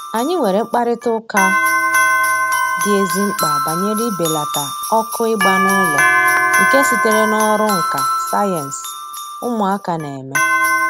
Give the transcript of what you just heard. Anyị nwere mkparịta ụka dị ezi mkpa banyere ibelata ọkụ ịgba n'ụlọ nke sitere n'ọrụ nka sayensị ụmụaka na-eme